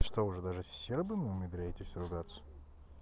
что уже даже с сербами умудряетесь ругаться